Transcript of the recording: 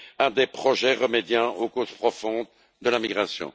à des projets remédiant aux causes profondes de la migration.